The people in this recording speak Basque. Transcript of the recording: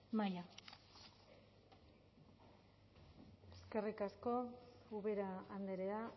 maila eskerrik asko ubera andrea